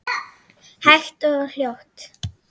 Hægt og hljótt.